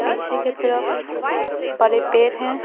पीछे के तरफ बड़े पेड़ हैं।